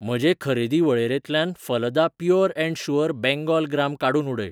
म्हजे खरेदी वळेरेंतल्यान Phalada pure and sure Bengal gram काडून उडय.